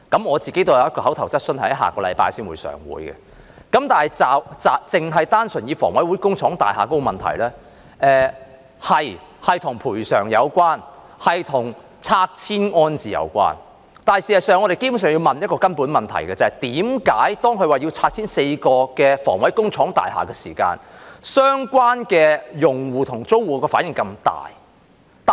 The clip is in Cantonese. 我也有一項口頭質詢在下星期立法會會議提出，但單純以房委會工廠大廈的問題為例，這的確是與賠償及拆遷安置有關，但事實上，我們基本上要問一個根本的問題，即為何當它表示要拆遷4幢房委會工廠大廈時，相關用戶和租戶的反應這麼大。